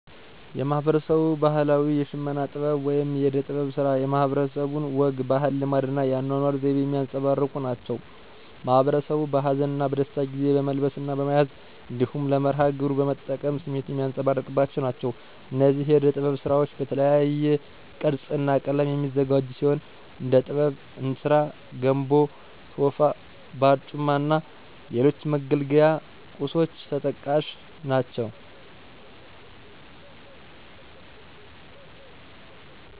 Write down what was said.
የማህበረሰቡ ባህላዊ የሽመና ጥበብ ወይም የእደ-ጥበብ ስራ የማህበረሰቡን ወግ፣ ባህል፣ ልማድ እና የአኗኗር ዘይቤ የሚያንፀባርቁ ናቸው። ማህበረሰቡ በሀዘን እና በደስታ ጊዜ በመልበስ እና በመያዝ እንዲሁም ለመርሀ ግብሩ በመጠቀም ስሜቱን የሚያንፀባርቅባቸው ናቸው። እነዚህ የእደ ጥበብ ስራዎች በተለያየ ቅርፅ እና ቀለም የሚዘጋጁ ሲሆን እንድ ጥበብ፣ እንስራ (ገንቦ፣ ቶፋ)፣ባርጩማ እና ሌሎች መገልገያ ቁሶች ተጠቃሽ ናቸው።